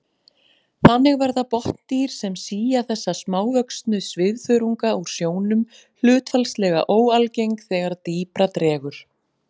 Þannig verða botndýr sem sía þessa smávöxnu svifþörunga úr sjónum hlutfallslega óalgeng þegar dýpra dregur.